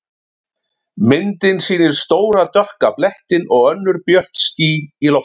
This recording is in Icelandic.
Myndin sýnir stóra dökka blettinn og önnur björt ský í lofthjúpnum.